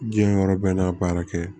Diɲɛ yɔrɔ bɛɛ n'a baara kɛ